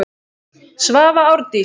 Svava Árdís.